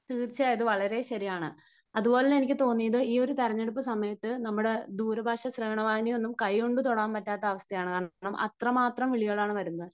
തീർച്ചയായിട്ടും വളരെ ശരിയാണ്. അതുപോലെ തന്നെ എനിക്ക് തോന്നിയത് ഈ ഒരു തെരഞ്ഞെടുപ്പ് സമയത്ത് നമ്മുടെ ദൂര ഭാഷ ശ്രവണ വാഹിനി ഒന്നും കൈകൊണ്ട് തൊടാൻ പറ്റാത്ത അവസ്ഥയാണ്. കാരണം അത്രമാത്രം വിളികളാണ് വരുന്നത്.